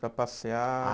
para passear. Ah